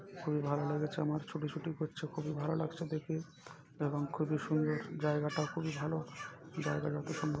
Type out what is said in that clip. খুবই ভালো লেগেছে আমার ছোটাছুটি করছে খুবই ভালো লাগছে দেখে এবং খুবই সুন্দর জায়গাটা খুবই ভালো। জায়গাটা অতি সুন্দর।